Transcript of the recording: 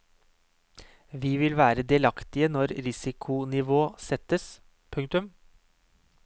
Vi vil være delaktige når risikonivå settes. punktum